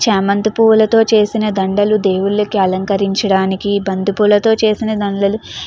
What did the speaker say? చామంతి పువ్వులతో చేసిన దండలు దేవుళ్ళకి అలంకరించడానికి బంతిపూలతో చేసిన దండలు